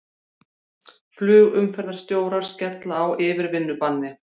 Flugumferðarstjórar skella á yfirvinnubanni